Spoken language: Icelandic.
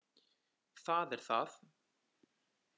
Það er það!